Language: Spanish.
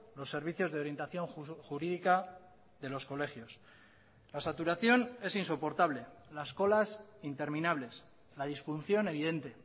los servicios de orientación jurídica de los colegios la saturación es insoportable las colas interminables la disfunción evidente